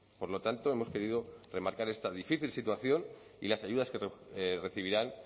por lo tanto hemos querido remarcar esta difícil situación y las ayudas que recibirán